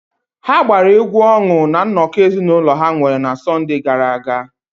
Ha gbara egwu ọṅụ na nnọkọ ezinụlọ ha nwere na Sọnde gara aga.